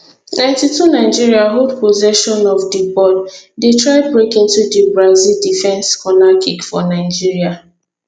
90 2 nigeria hold possession of di ball dey try break into di brazil defence corner kick for nigeria